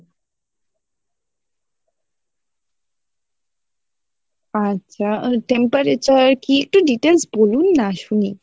আচ্ছা temperature কি একটু details বলুন না শুনি